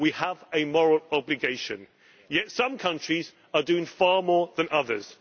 We have a moral obligation, yet some countries are doing far more than others.